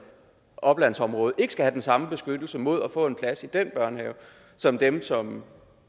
oplandsområde ikke skal have den samme beskyttelse mod at få en plads i den børnehave som dem som